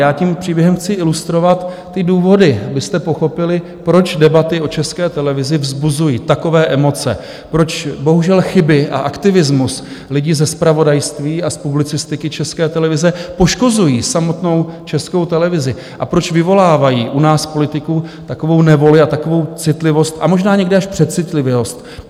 Já tím příběhem chci ilustrovat ty důvody, abyste pochopili, proč debaty o České televizi vzbuzují takové emoce, proč bohužel chyby a aktivismus lidí ze zpravodajství a z publicistiky České televize poškozují samotnou Českou televizi a proč vyvolávají u nás politiků takovou nevoli a takovou citlivost a možná někdy až přecitlivělost.